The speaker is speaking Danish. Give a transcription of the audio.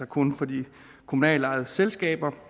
kun for de kommunalt ejede selskaber